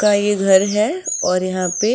कई घर है और यहां पे